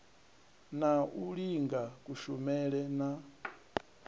na u linga kushumele na